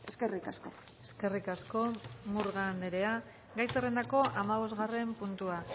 eskerrik asko eskerrik asko murga andrea gai zerrendako hamabosgarren puntua